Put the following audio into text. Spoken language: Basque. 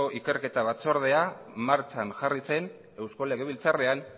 ikerketa batzordea martxan jarri zen eusko legabiltzarrean